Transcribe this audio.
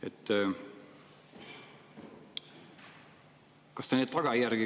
Hea kolleeg!